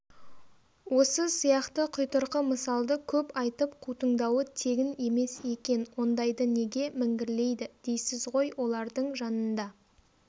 осы сияқты құйтырқы мысалды көп айтып қутыңдауы тегін емес екен ондайды неге міңгірлейді дейсіз ғой олардың жанында